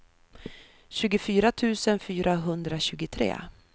tjugofyra tusen fyrahundratjugotre